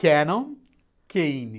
Cannon, Kane.